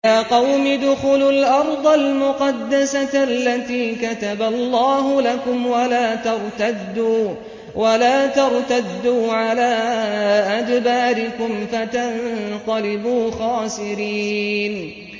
يَا قَوْمِ ادْخُلُوا الْأَرْضَ الْمُقَدَّسَةَ الَّتِي كَتَبَ اللَّهُ لَكُمْ وَلَا تَرْتَدُّوا عَلَىٰ أَدْبَارِكُمْ فَتَنقَلِبُوا خَاسِرِينَ